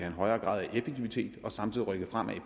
en højere grad af effektivitet og samtidig rykke fremad i